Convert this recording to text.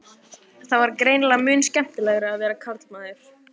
Það var greinilega mun skemmtilegra að vera karlmaður.